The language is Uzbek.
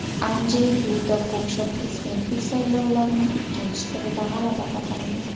Anjey Duda Polsha prezidentlik saylovlarining ikkinchi turida g‘alaba qozondi.